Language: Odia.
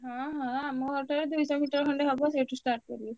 ହଁ ହଁ ଆମ ଘର ଠାରୁ ଦୁଇଶହ meter ଖଣ୍ଡେ ହବ ସେଠୁ start କରିବେ।